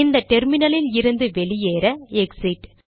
இந்த டெர்மினலில் இருந்து வெளியேற எக்ஸிட்